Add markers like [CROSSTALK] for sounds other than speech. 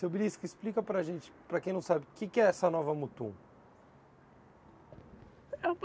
Seu, [UNINTELLIGIBLE] explica para gente, para quem não sabe, o que que é essa nova Mutum? [UNINTELLIGIBLE]